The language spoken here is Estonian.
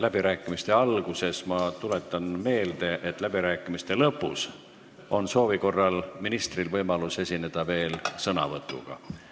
Läbirääkimiste alguses tuletan meelde, et läbirääkimiste lõpus on ministril soovi korral võimalik veel sõna võtta.